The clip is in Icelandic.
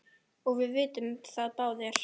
og við vitum það báðir.